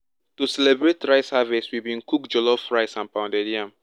to celebrate rice harvest we bin cook jollof rice and pounded yam